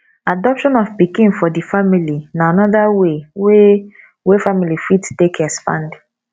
adoption of pikin for di family na anoda way wey wey family fit take expand